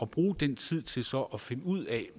bruge den tid til så at finde ud af